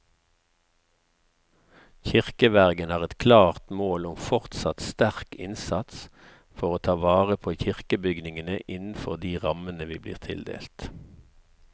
Kirkevergen har et klart mål om fortsatt sterk innsats for å ta vare på kirkebygningene innenfor de rammene vi blir tildelt.